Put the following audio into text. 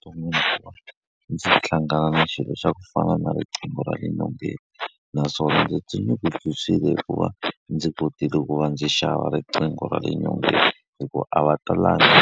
sungula ndzi hlangana na xilo xa ku fana na riqingho ra le nyongeni naswona ndzi tinyungubyisile hikuva ndzi kotile ku va ndzi xava riqingho ra le nyongeni, hikuva a va talangi .